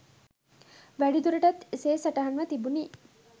වැඩිදුරටත් එසේ සටහන්ව තිබුණි.